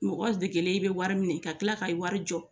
Mɔgɔ degelen i bɛ wari minɛ ka tila ka wari jɔ